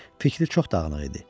Fikri çox dağınıq idi.